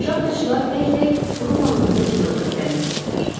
Şaxtaçılar tək-tək, qrup halında cığırlə irəliləyirdilər.